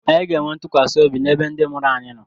Anyị ga-enwe ntụkwasị obi ebe ndị mụrụ anyị nọ.